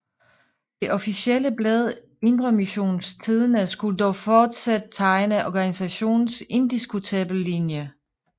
Det officielle blad Indre Missions Tidende skulle dog fortsat tegne organisationens indiskutable linje